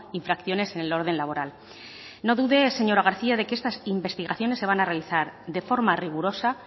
infracciones en el orden laboral no dude señora garcía de que estas investigaciones se van a realizar de forma rigurosa